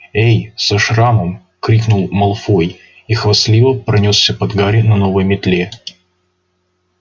эй со шрамом крикнул малфой и хвастливо пронёсся под гарри на новой метле